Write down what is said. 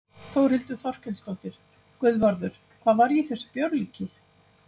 Þórhildur Þorkelsdóttir: Guðvarður, hvað var í þessu bjórlíki?